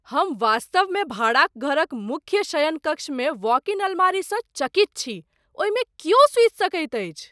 हम वास्तवमे भाड़ाक घरक मुख्य शयनकक्षमे वॉक इन अलमारीसँ चकित छी, ओहिमे कियो सुति सकैत अछि।